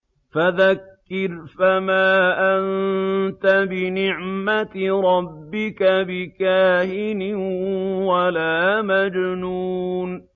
فَذَكِّرْ فَمَا أَنتَ بِنِعْمَتِ رَبِّكَ بِكَاهِنٍ وَلَا مَجْنُونٍ